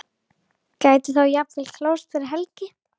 Gæti þá jafnvel klárast fyrir helgi?